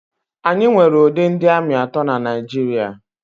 Anyị nwere ụdị ndị ami atọ na Naịjirịa.